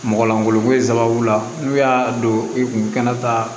Mɔgɔ lankolonko in sababu la n'u y'a don i kun kɛnɛ ta